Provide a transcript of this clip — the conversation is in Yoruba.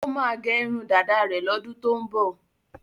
Ó máa gẹ irun dáda rẹ̀ lọ́dún tó ń bọ̀.